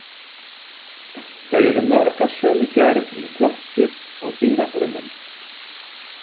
Þau eru mörg af sömu gerð í plöntu- og dýrafrumum.